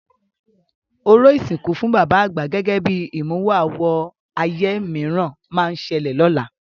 Orò ìsìnkú fún bàbá àgbà gẹ́gẹ́ bí ìmúwọ-àwọ ayé mìíràn máa ṣẹlẹ̀ lọ́la.